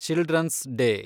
children's day